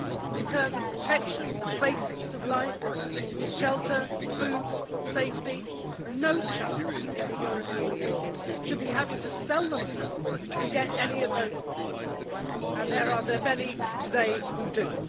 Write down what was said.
In terms of protection and the basics of life shelter, food, safety no child in the European Union should be having to sell themselves to get any of those things and there are many today who do.